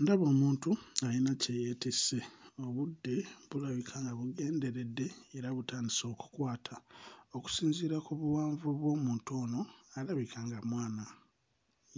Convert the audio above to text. Ndaba omuntu, alina kye yeetisse. Obudde bulabika nga bugenderedde era butandise okukwata. Okusinziira ku buwanvu bw'omuntu ono, alabika nga mwana